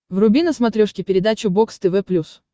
вруби на смотрешке передачу бокс тв плюс